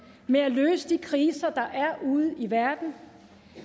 med at løse de kriser der er ude i verden